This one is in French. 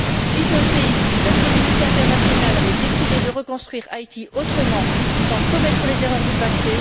Suite au séisme, la communauté internationale avait décidé de reconstruire Haïti autrement, sans commettre les erreurs du passé.